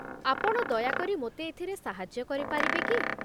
ଆପଣ ଦୟାକରି ମୋତେ ଏଥିରେ ସାହାଯ୍ୟ କରିପାରିବେ କି?